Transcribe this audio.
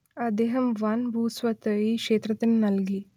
അദ്ദേഹം വൻ ഭൂസ്വത്ത് ഈ ക്ഷേത്രത്തിനു നൽകി